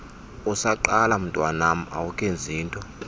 usaqala mntwanam awukenzinto